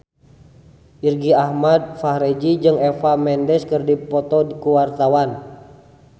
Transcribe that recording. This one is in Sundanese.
Irgi Ahmad Fahrezi jeung Eva Mendes keur dipoto ku wartawan